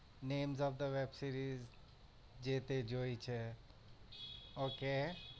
Names of the web series જે તે જોઈ છે okay